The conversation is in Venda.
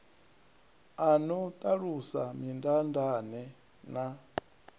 a no ṱalusa mindaandaane na